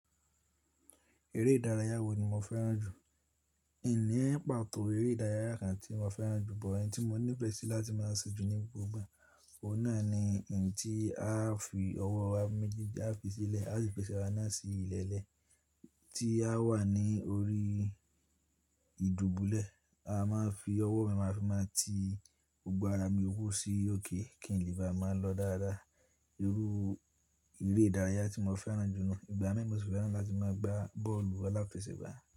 Eré ìdárayá wo ni mo fẹ́ràn jù? Ìní ẹ̀ pàtó eré ìdárayá kan tí mo fẹ́ràn jù, but ẹ̀yi tí mo nífe sí láti máa ṣe jù ní gbogbo ìgbà, òun náà ni ẹ̀yi tí a fi ọwọ́ wa méjì tá fi sílẹ̀, a si fi ẹ̀sẹ̀ wa náà sí ilẹ̀lẹ́ẹ̀, tí a wà ní orí ìdubulẹ̀, a máa fi ọwọ́ mi máa fi máa ti gbogbo ara mi wó sí òkè kí n lè bá máa lọ dáradára. Irú eré ìdárayá tí mo fẹ́ràn jù ni ìgbà mii mo sì fẹ́ràn láti máa gba bọ́ọ̀lù aláfẹsẹ̀gbá.